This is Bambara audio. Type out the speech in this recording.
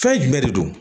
Fɛn jumɛn de don